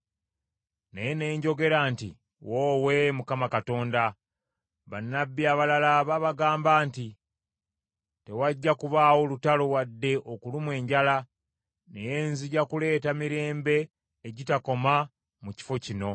Naye ne njogera nti, “Woowe, Mukama Katonda, bannabbi abalala babagamba nti, ‘Tewajja kubaawo lutalo wadde okulumwa enjala. Naye nzija kuleeta mirembe egitakoma mu kifo kino.’ ”